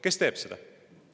Kes seda teeb?